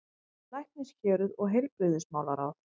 LÆKNISHÉRUÐ OG HEILBRIGÐISMÁLARÁÐ